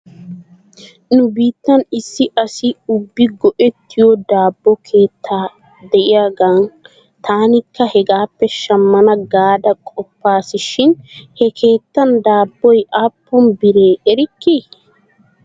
Nu biittan issi asi ubbi go'ettiyoo daabbo keetta de'iyaagan taanikka hegaappe shammana gaada qoppas shin he keettan daabboy aappun bira ekkii?